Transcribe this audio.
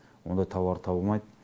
ондай тауарды тауалмайды